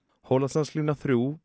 Hólasandslína þrír